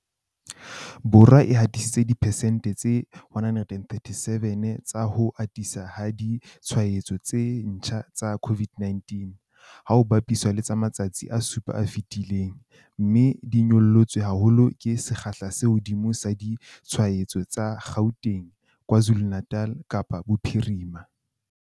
Borwa e hatisitse diperesente tse 137 tsa ho ata ha ditshwaetso tse ntjha tsa COVID-19, ha ho bapiswa le matsatsi a supa a fetileng, mme di nyollotswe haholo ke sekgahla se hodimo sa ditshwaetso tsa Gauteng, KwaZulu-Natal, Kapa Bophirima.